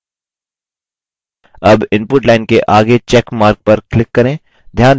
अब input line के आगे check mark पर click करें